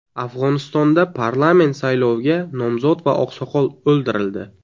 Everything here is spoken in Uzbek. Afg‘onistonda parlament sayloviga nomzod va oqsoqol o‘ldirildi.